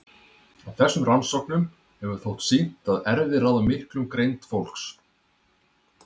Af þessum rannsóknum hefur þótt sýnt að erfðir ráða allmiklu um greind fólks.